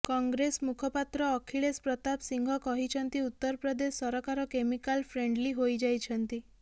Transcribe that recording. କଂଗ୍ରେସ ମୁଖପାତ୍ର ଅଖିଳେଶ ପ୍ରତାପ ସିଂହ କହିଛନ୍ତି ଉତ୍ତରପ୍ରଦେଶ ସରକାର କେମିକାଲ ଫ୍ରେଣ୍ଡଲି ହୋଇଯାଇଛନ୍ତି